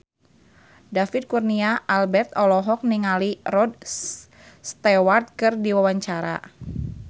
David Kurnia Albert olohok ningali Rod Stewart keur diwawancara